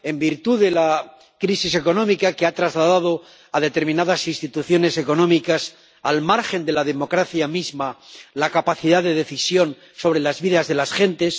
en virtud de la crisis económica, que ha trasladado a determinadas instituciones económicas, al margen de la democracia misma, la capacidad de decisión sobre las vidas de las gentes